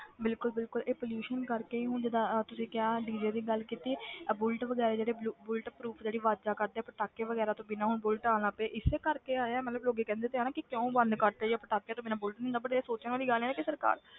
ਬਿਲਕੁਲ ਬਿਲਕੁਲ ਇਹ pollution ਕਰਕੇ ਹੀ ਹੁਣ ਜਿੱਦਾਂ ਅਹ ਤੁਸੀਂ ਕਿਹਾ DJ ਦੀ ਗੱਲ ਕੀਤੀ ਆਹ ਬੁਲਟ ਵਗ਼ੈਰਾ ਜਿਹੜੇ ਬੁਲ~ bullet proof ਜਿਹੜੀ ਆਵਾਜ਼ਾਂ ਕੱਢਦੇ ਆ ਪਟਾਕੇ ਵਗ਼ੈਰਾ ਤੋਂ ਬਿਨਾਂ ਹੁਣ ਬੁਲਟ ਆਉਣ ਲੱਗ ਪਏ ਇਸੇ ਕਰਕੇ ਆਏ ਆ ਮਤਲਬ ਲੋਕੀ ਕਹਿੰਦੇ ਤੇ ਆ ਨਾ ਕਿ ਕਿਉਂ ਬੰਦ ਕਰ ਦਿੱਤੇ ਜਾਂ ਪਟਾਕੇ ਤੋਂ ਬਿਨਾਂ ਬੁਲਟ ਨੀ ਹੁੰਦਾ but ਇਹ ਸੋਚਣ ਵਾਲੀ ਗੱਲ ਹੈ ਨਾ ਕਿ ਸਰਕਾਰ